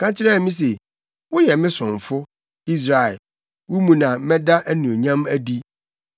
Ɔka kyerɛɛ me se, “Woyɛ me somfo, Israel, wo mu na mɛda mʼanuonyam adi.”